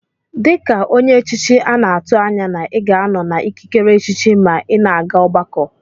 Dika onye echichi ana atu anya na iga anọ na ikikere echichi ma ina aga ọgbakọ.